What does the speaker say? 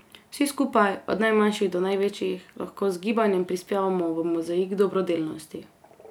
Vsi skupaj, od najmanjših do največjih, lahko z gibanjem prispevamo v mozaik dobrodelnosti.